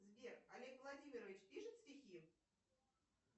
сбер олег владимирович пишет стихи